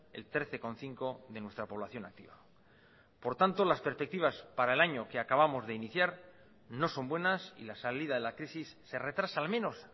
el trece coma cinco de nuestra población activa por tanto las perspectivas para el año que acabamos de iniciar no son buenas y la salida de la crisis se retrasa al menos